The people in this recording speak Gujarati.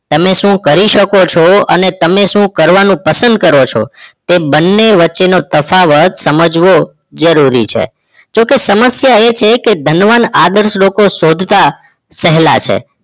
તમે શું કરી શકો છો અને તમે શું કરવાનું પસંદ કરો છો એ બંને વચ્ચે નો તફાવત સમજવો જરૂરી છે જોકે સમસ્યા એ છે કે ધનવાન આદર્શ લોકો શોધતા સહેલા છે